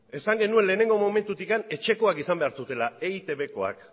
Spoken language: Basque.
esan genuen lehenengo momentutik etxekoak izan behar zutela eitbkoak